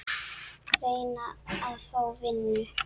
Reyna að fá vinnu?